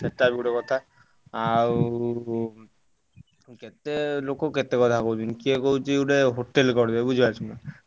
ହୁଁ ସେଟା ବି ଗୋଟେ କଥା ଆଉ କେତେ ଲୋକ କେତେ କଥା କହୁଛନ୍ତି କିଏ କହୁଛି ଗୋଟେ hotel ଗାଢ ବୁଝିପାରୁଛ ନା।